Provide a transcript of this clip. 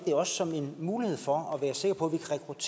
som en mulighed for at kunne være sikre på